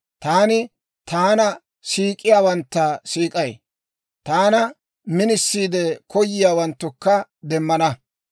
«Taani taana siik'iyaawantta siik'ay; taana minisiide koyiyaawanttukka demmana.